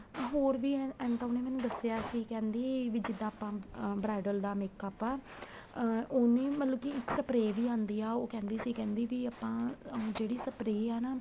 ਹੋਰ ਵੀ ਐ ਤਾਂ ਉਹਨੇ ਮੈਨੂੰ ਦੱਸਿਆਂ ਸੀ ਕਹਿੰਦੀ ਵੀ ਜਿੱਦਾਂ ਆਪਾਂ ਅਹ bridal ਦਾ makeup ਆ ਅਹ ਉਹ ਵੀ ਮਤਲਬ ਕੀ ਇੱਕ spray ਵੀ ਆਣਦੀ ਆ ਉਹ ਕਹਿੰਦੀ ਸੀ ਕਹਿੰਦੀ ਵੀ ਆਪਾਂ ਜਿਹੜੀ spray ਆ ਨਾ